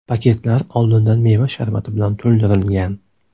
Paketlar oldindan meva sharbati bilan to‘ldirilgan.